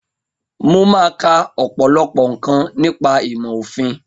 Mo máa ka ọ̀pọ̀lọpọ̀ nǹkan nípa ìmọ̀ òfin